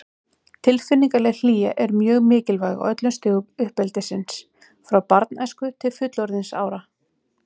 Tilfinningaleg hlýja er mjög mikilvæg á öllum stigum uppeldisins, frá barnæsku til fullorðinsára.